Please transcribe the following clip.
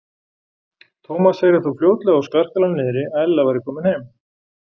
Thomas heyrði þó fljótlega á skarkalanum niðri að Ella væri komin heim.